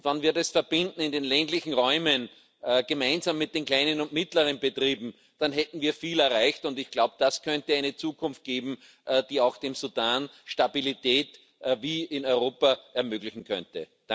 Wenn wir das in den ländlichen Räumen gemeinsam mit den kleinen und mittleren Betrieben verbinden, dann hätten wir viel erreicht, und ich glaube, das könnte eine Zukunft geben, die auch dem Sudan Stabilität wie in Europa ermöglichen könnte.